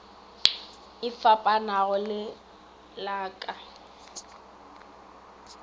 e fapanago le la ka